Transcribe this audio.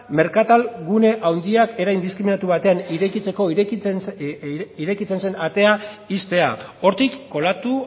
merkatal gune handiak era indiskrimatu batean irekitzen zen atea ixtea hortik kolatu